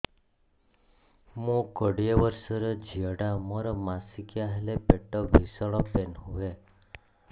ମୁ କୋଡ଼ିଏ ବର୍ଷର ଝିଅ ଟା ମୋର ମାସିକିଆ ହେଲେ ପେଟ ଭୀଷଣ ପେନ ହୁଏ